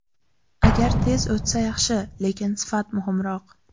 Agar tez o‘tsa yaxshi, lekin sifat muhimroq.